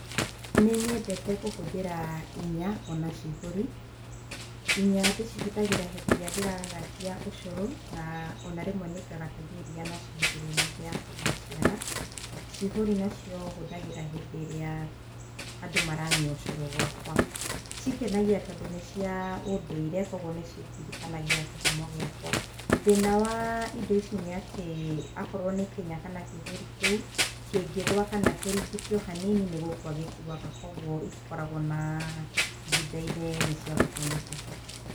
Nĩnyendete kũhũthĩra inya ona ciihũri inya ndĩcihũthagĩra hĩndĩ ĩrĩa ndĩragagatia ũcũrũ na ona rĩmwe nĩngagatagia iria nacio hĩndĩ ĩrĩa ng'ombe yakwa yaciara cihũri nacio hũthagĩra hĩndĩ ĩrĩa andũ maranyua ũcũrũ gwakwa cingenagia tondũ nĩcia ũndũire kwoguo nĩcindirikanagia kĩhumo gĩakwa thĩna wa indo ici nĩatĩ akorwo nĩ kĩnya kana kĩihũri kĩu kĩngĩgũa kana kĩringithio hanini nĩgũkua gĩkuaga kwoguo itikoragwo na ihinda inene cia gũtũmĩka.